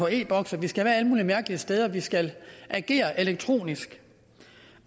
en e boks og vi skal være alle mulige mærkelige steder vi skal agere elektronisk